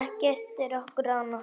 Ekkert um okkur án okkar!